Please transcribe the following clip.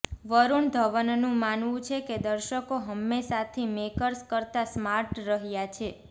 વરુણ ધવનનું માનવું છે કે દર્શકો હંમેશાંથી મેકર્સ કરતાં સ્માર્ટ રહ્યા છે